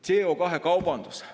CO2 kaubandus.